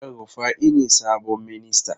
El Rufai ne sabon ministan?